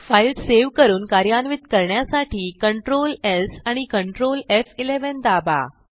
file save करून कार्यान्वित करण्यासाठी Ctrl स् आणि Ctrl एफ11 दाबा